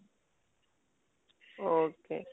ଓ ହୋ